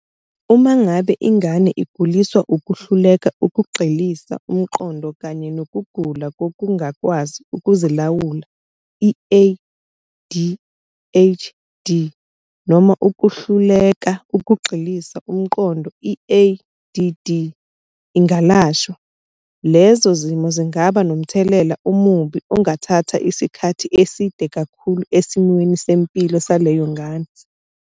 Uma ngabe ingane eguliswa ukuhluleka ukugxilisa umqondo kanye nokugula kokungakwazi ukuzilawula, i-ADHD, noma ukuhluleka ukugxilisa umqondo, i-ADD, ingalashwa, lezo zimo zingaba nomthelela omubi ongathatha isikhathi eside kakhulu esimweni sempilo saleyo ngane.